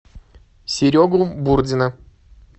серегу бурдина